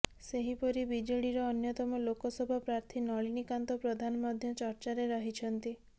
ସେହିପରି ବିଜେଡ଼ିର ଅନ୍ୟତମ ଲୋକସଭା ପ୍ରାର୍ଥୀ ନଳିନୀକାନ୍ତ ପ୍ରଧାନ ମଧ୍ୟ ଚର୍ଚ୍ଚାରେ ରହିଛନ୍ତି